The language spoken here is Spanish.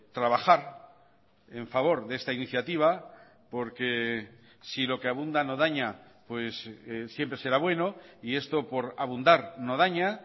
trabajar en favor de esta iniciativa porque si lo que abunda no daña pues siempre será bueno y esto por abundar no daña